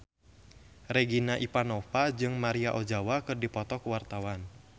Regina Ivanova jeung Maria Ozawa keur dipoto ku wartawan